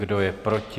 Kdo je proti?